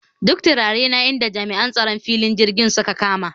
Duk turarena inda jami'an tsaron filin jirgin suka kama